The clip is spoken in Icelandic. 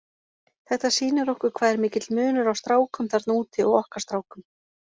Þetta sýnir okkur hvað er mikill munur á strákum þarna úti og okkar strákum.